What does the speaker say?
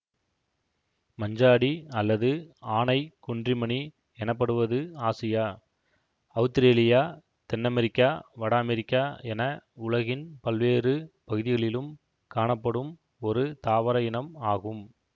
மஞ்சாடி அல்லது ஆனைக் குன்றிமணி எனப்படுவது ஆசியா அவுத்திரேலியா தென்னமெரிக்கா வட அமெரிக்கா என உலகின் பல்வேறு பகுதிகளிலும் காணப்படும் ஒரு தாவர இனம் ஆகும்